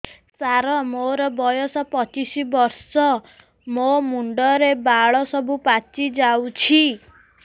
ସାର ମୋର ବୟସ ପଚିଶି ବର୍ଷ ମୋ ମୁଣ୍ଡରେ ବାଳ ସବୁ ପାଚି ଯାଉଛି